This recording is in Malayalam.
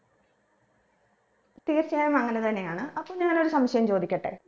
തീർച്ചയായും അങ്ങനെ തന്നെയാണ് അപ്പൊ ഞാനൊരു സംശയം ചോദിക്കട്ടെ